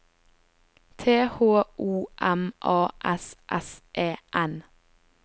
T H O M A S S E N